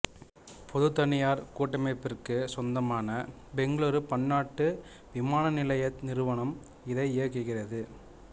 பொதுதனியார் கூட்டமைப்பிற்குச் சொந்தமான பெங்களூரு பன்னாட்டு விமானநிலைய நிறுவனம் இதை இயக்குகிறது